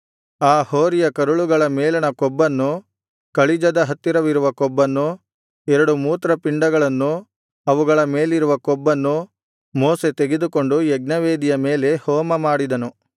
ಆ ಹೋರಿಯ ಕರುಳುಗಳ ಮೇಲಣ ಕೊಬ್ಬನ್ನು ಕಳಿಜದ ಹತ್ತಿರವಿರುವ ಕೊಬ್ಬನ್ನು ಎರಡು ಮೂತ್ರಪಿಂಡಗಳನ್ನು ಅವುಗಳ ಮೇಲಿರುವ ಕೊಬ್ಬನ್ನು ಮೋಶೆ ತೆಗೆದುಕೊಂಡು ಯಜ್ಞವೇದಿಯ ಮೇಲೆ ಹೋಮ ಮಾಡಿದನು